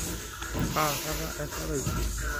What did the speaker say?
kaakata esha taisere